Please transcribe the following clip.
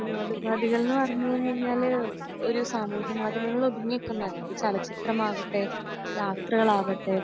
വിനോദോപാദികൾ എന്ന് പറഞ്ഞു കഴിഞ്ഞാൽ ഒരു സാമൂഹ്യ മാധ്യമങ്ങളിൽ ഒതുങ്ങി നിൽക്കുന്നതല്ല അത് ചലച്ചിത്രമാകട്ടെ യാത്രകളാവട്ടെ